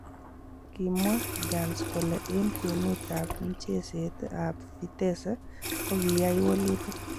Kimwaa Jans kole en kwenut ab mcheset ab Vitesse kogiyaai walutik.